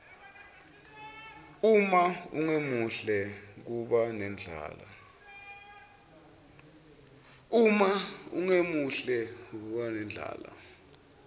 uma ungemuhle kuba nendlala